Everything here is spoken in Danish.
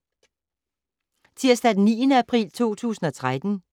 Tirsdag d. 9. april 2013